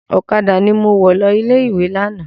Ọ̀kadà ni mo wọ̀ lọ ilé-ìwé lánàá.